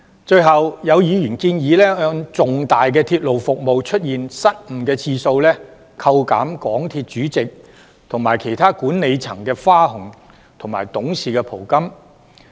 最後，有議員建議按重大鐵路服務出現失誤的次數，扣減港鐵公司主席及其他管理層的花紅及董事袍金。